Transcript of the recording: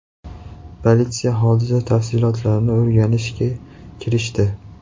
Politsiya hodisa tafsilotlarini o‘rganishga kirishdi.